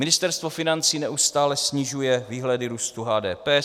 Ministerstvo financí neustále snižuje výhledy růstu HDP.